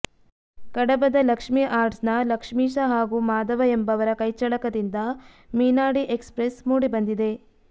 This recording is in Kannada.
ಕಡಬದ ಲಕ್ಷ್ಮೀ ಆರ್ಟ್ಸ್ನ ಲಕ್ಷ್ಮೀಶ ಹಾಗೂ ಮಾದವ ಎಂಬವರ ಕೈಚಳಕದಿಂದ ಮೀನಾಡಿ ಎಕ್ಸ್ಪ್ರೆಸ್ಸ್ ಮೂಡಿಬಂದಿದೆ